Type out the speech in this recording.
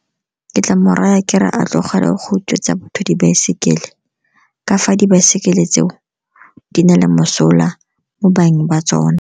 Ke tla mo raya ke re a tlogele go utswetsa batho dibaesekele, kafa dibaesekele tse o di na le mosola mo beng ba tsona.